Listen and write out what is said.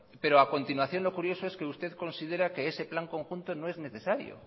pero a continuación lo curioso es que usted considera que ese plan conjunto no es necesario